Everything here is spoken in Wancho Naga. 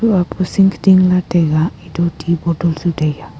lah taiga etoh ti bottle chu tai a.